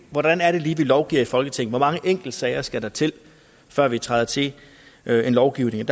hvordan er det lige vi lovgiver i folketinget hvor mange enkeltsager skal der til før vi træder til med lovgivning